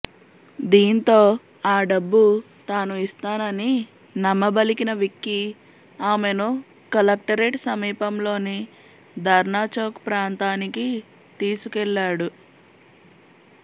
దీంతో ఆ డబ్బు తాను ఇస్తానని నమ్మబలికిన విక్కీ ఆమెను కలెక్టరేట్ సమీపంలోని ధర్నాచౌక్ ప్రాంతానికి తీసుకెళ్లాడు